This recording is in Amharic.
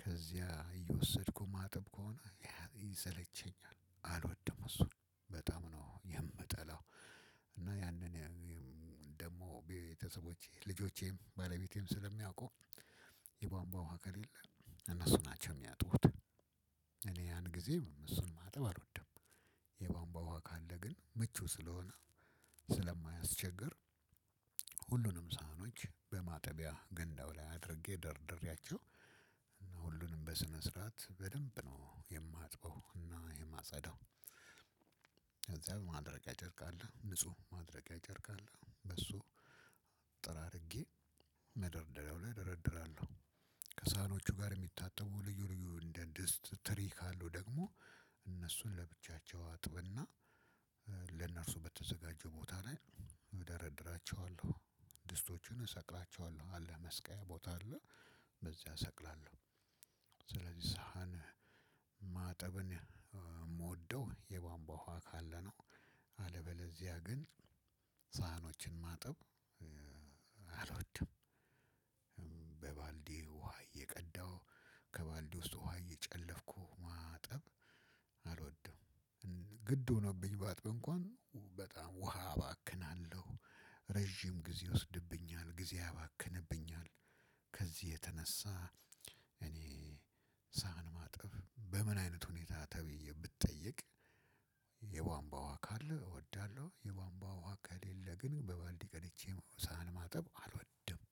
ከዚያ እየወሰድኩ ማጠብ ከሆነ ያ ይሰለቸኛል አልወድም እሱን በጣም ነው የምጠላው። እና ያንን ደግሞ ቤተሰቦቼ ልጆቼም ባለቤቴም ስለሚያውቁ የቧንቧ ውሃ ከሌለ እነሱ ናቸው የሚያጥቡት። እኔ ያን ጊዜ እሱን ማጠብ አልወድም። የቧንቧ ውሃ ካለ ግን ምቹ ስለሆነ ስለማያስቸግር ሁሉንም ሰሃኖች በማጠቢያ ገንዳው ላይ አድርጌ ደርድሬያቸው እነ ሁሉንም በስነ ስርዓት በደንብ ነው የማጥበው እና የማጸዳው። ከዚያ ማድረቂያ ጨርቅ አለ ንጹህ ማድረጊያ ጨርቅ አለ በሱ ጠራርጌ መደርደሪያው ላይ ደረድራለሁ። ከሰሃኖቹ ጋር እሚታጠቡ ልዩ ልዩ እንደ ድስት ትሪ ካሉ ደግሞ እነሱን ለብቻቸው አጥብ እና ለእነሱ በተዘጋጀው ቦታ ላይ እደረድራቸዋለሁ። ድስቶቹን እሰቅላቸዋለሁ አለ መስቀያ ቦታ አለ በዚያ እሰቅላለሁ። ስለዚህ ሰሃን ማጠብን ምወደው የቧንቧ ውሃ ካለ ነው። አለበለዚያ ግን ሰሃኖችን ማጠብ አልወድም። በባልዲ ውሃ እየቀዳሁ ከባልዲ ውስጥ ውሃ እየጨለፍኩ ማጠብ አልወድም። ግድ ሆኖብኝ ባጥብ እንኳን በጣም ውሃ አባክናለሁ። ረጅም ጊዜ ይወስድብኛል ጊዜ ያባክንብኛል። ከዚህ የተነሳ እኔ ሰሃን ማጠብ በምን አይነት ሁኔታ ተብዬ ብጠየቅ የቧንቧ ውሃ ካለ እወዳለሁ። የቧንቧ ውሃ ከሌለ ግን በባልዲ ቀድቼ ሰሃን ማጠብ አልወድም።